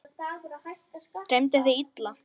Dreymdi þig illa?